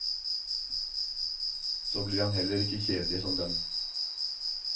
Så blir han heller ikke kjedelig som dem.